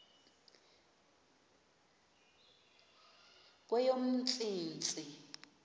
kweyomntsintsi